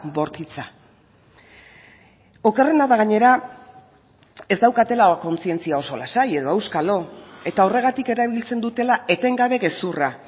bortitza okerrena da gainera ez daukatela kontzientzia oso lasai edo auskalo eta horregatik erabiltzen dutela etengabe gezurra